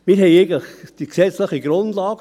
Wir haben eigentlich die gesetzliche Grundlage.